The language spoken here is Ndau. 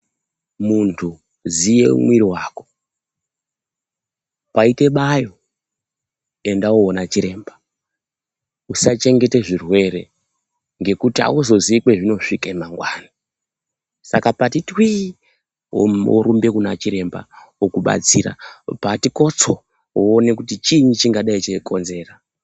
Muntu ziva mumwiri wako .Paite bayo enda undoona chiremba usachengeta zvirwere ngekuti hauzivi kwazvinosvika mangwanani saka pati twi worumba kuna chiremba okubatsira pati kotso poonekwa kuti chini chinenge cheikonzera.